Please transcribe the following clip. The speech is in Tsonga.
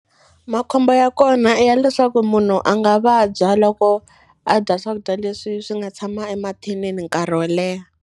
Makhombo ya kona i ya leswaku munhu a nga vabya loko a dya swakudya leswi swi nga tshama emathinini nkarhi wo leha.